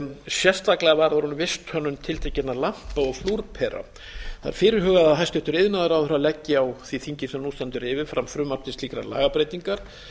sérstaklega varðar hún visthönnun tiltekinna lampa og flúrpera það er fyrirhugað að hæstvirtur iðnaðarráðherra leggi á þingið sem nú stendur yfir fram frumvarp tl slíkrar lagabreytingar